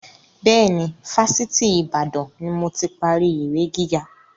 Bẹ́ẹ̀ni, Fásitì Ìbàdàn ni moti parí ìwé gíga.